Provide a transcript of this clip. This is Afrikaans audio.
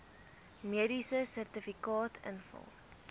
mediese sertifikaat invul